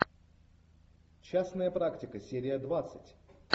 частная практика серия двадцать